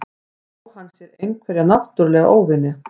Á hann sér einhverja náttúrulega óvini?